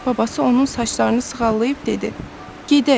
Babası onun saçlarını sığallayıb dedi: Gedək.